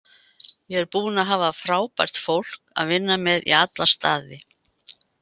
Ég er búinn að hafa frábært fólk að vinna með í alla staði.